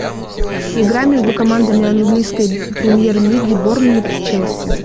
игра между командами английской премьер лиги борнмут челси